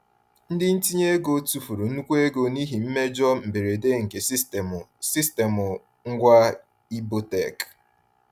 Ndị ntinye ego tufuru nnukwu ego n’ihi mmejọ mberede nke sistemụ sistemụ ngwa Ibotek.